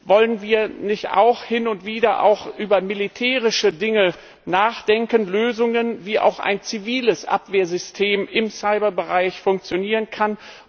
Wollen wir nicht hin und wieder auch über militärische Dinge nachdenken, über Lösungen, wie auch ein ziviles Abwehrsystem im Cyberbereich funktionieren kann?